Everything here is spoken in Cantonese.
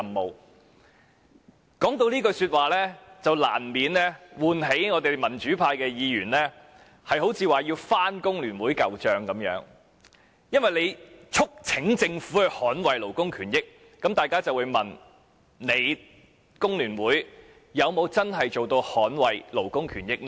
每次提到這句話，難免便會喚起民主派議員要翻工聯會的舊帳，因為他說"促請政府捍衞勞工權益"，那麼大家便不禁會問：工聯會又有否真正做到捍衞勞工權益呢？